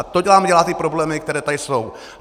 A to nám dělá ty problémy, které tady jsou.